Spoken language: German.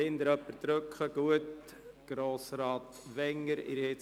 Kann ihn bitte noch jemand anmelden?